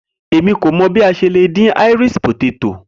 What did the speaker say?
Emi ko mọ bi a ṣe le din-din Irish poteto